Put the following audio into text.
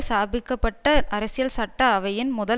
ஸ்தாபிக்க பட்ட அரசியல் சட்ட அவையின் முதல்